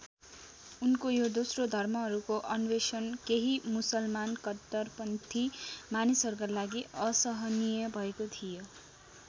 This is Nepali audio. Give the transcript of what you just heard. उनको यो दोस्रो धर्महरूको अन्वेषण केही मुसलमान कट्टरपन्थी मानिसहरूका लागि असहनीय भएको थियो।